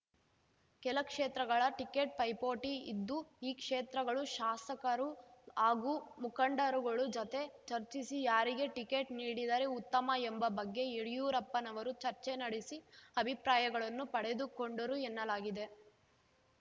ಕೆಲ ಕ್ಷೇತ್ರಗಳ ಟಿಕೆಟ್‌ ಪೈಪೋಟಿ ಇದ್ದು ಈ ಕ್ಷೇತ್ರಗಳು ಶಾಸಕರು ಹಾಗೂ ಮುಖಂಡರುಗಳು ಜೊತೆ ಚರ್ಚಿಸಿ ಯಾರಿಗೆ ಟಿಕೆಟ್ ನೀಡಿದರೆ ಉತ್ತಮ ಎಂಬ ಬಗ್ಗೆ ಯಡ್ಯೂರಪ್ಪನವರು ಚರ್ಚೆ ನಡೆಸಿ ಅಭಿಪ್ರಾಯಗಳನ್ನು ಪಡೆದುಕೊಂಡರು ಎನ್ನಲಾಗಿದೆ